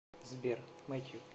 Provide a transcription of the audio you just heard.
сбер мэтью